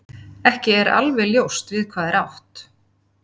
Ekki er alveg ljóst við hvað er átt.